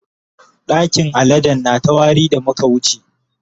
ɗakin aladen na ta wari da muka wuce.